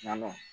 Nɔnɔ